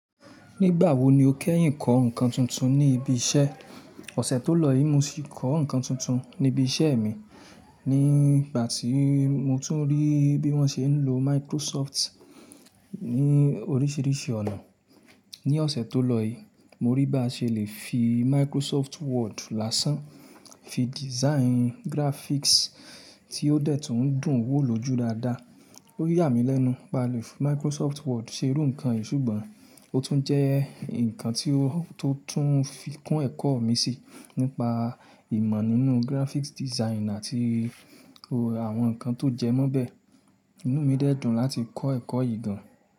Nígbà wo ni o kẹ́yìn kọ́ nǹkan tuntun ní ibi iṣẹ́? Ọ̀ṣè tó lọ yìí mo sì kọ́ nǹkan tuntun ní ibi iṣẹ́ mi. Ní ìgbà tí mo tún rí bí wọ́n ṣe ń lo Microsoft ní oríṣiríṣi ọ̀nà. Ni ọ̀sẹ̀tó lọ yìí, mo rí bí a ṣe lè fi Microsoft Word lásán fi design graphics tí ó dẹ̀ tún dùn wò ló jú dáadáa. Ó yà mí lẹ́nu pé a lè fi Microsoft Word ṣe irú ǹkan yìí, ṣùgbọ́n ó tún jẹ́ ǹkan tí ó tí ó tún fi kún ẹ̀kọ́ mi sí nípa ìmọ̀ nínú graphics design, àti àwọn ǹkan tó jẹ́ mọ́ bí. Inú mi dẹ̀ dùn láti kọ́ ẹ̀kọ́ yìí gan-an.